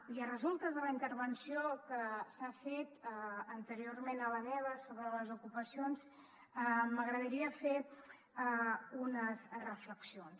i de resultes de la intervenció que s’ha fet anteriorment a la meva sobre les ocupacions m’agradaria fer unes reflexions